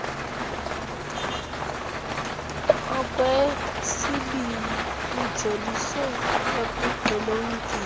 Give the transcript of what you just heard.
okwesibini lujolise ekuxilongeni